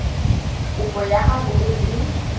kopo ya gago e e